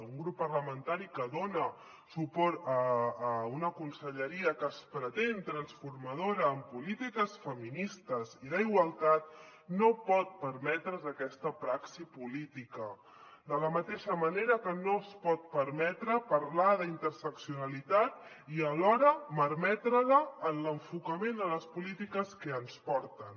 un grup parlamentari que dona suport a una conselleria que es pretén transformadora en polítiques feministes i d’igualtat no pot permetre’s aquesta praxi política de la mateixa manera que no es pot permetre parlar d’interseccionalitat i alhora malmetre la en l’enfocament a les polítiques que ens porten